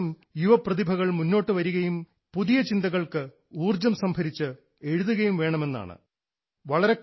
യുവ പ്രതിഭകൾ മുന്നോട്ടു വരികയും യുവ ചിന്തകൾക്ക് പുതിയ ഊർജ്ജം സംഭരിച്ച് എഴുതുകയും വേണമെന്നതാണ് അതിൻറെ ഉദ്ദേശ്യം